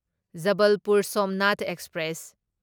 Jabalpur Somnath express